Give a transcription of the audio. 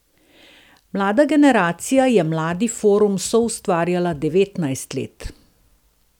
Mlada generacija je Mladi forum soustvarjala devetnajst let.